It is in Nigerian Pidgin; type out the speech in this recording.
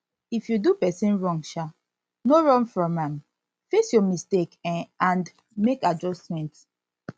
if you do person wrong um no run from am face your mistake um and make adjustment